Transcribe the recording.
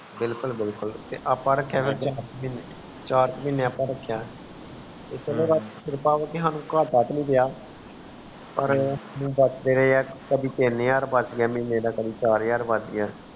ਬਿਲਕੁਲ ਬਿਲਕੁਲ ਤੇ ਅੱਪਾ ਰਖਿਆ ਚਾਰ ਕਰ ਮਹੀਨੇ ਅੱਪਾ ਰਖਿਆ ਕੁਛ ਸਮੇਂ ਬਾਅਦ ਕ੍ਰਿਪਾ ਕਰਕੇ ਸਾਨੂ ਕਾਟਾ ਵੀ ਨੀ ਪਿਆ ਪਾਰ ਬਚ ਦੇ ਰਹੇ ਹੈ ਕਦੀ ਤੀਨ ਹਜ਼ਾਰ ਬਚ ਗਯਾ ਕਦੀ ਚਾਰ ਹਜ਼ਾਰ ਬਚ ਗਿਆ